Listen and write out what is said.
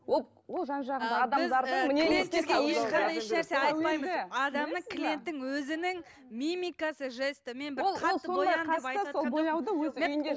ол ол жан жағындағы адамдардың адамның клиенттің өзінің мимикасы жесті